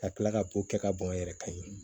Ka kila ka ko kɛ ka bɔn n yɛrɛ kan ye